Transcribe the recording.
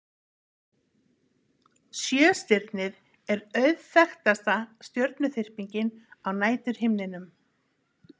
Sjöstirnið er auðþekktasta stjörnuþyrpingin á næturhimninum.